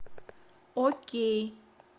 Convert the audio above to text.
окей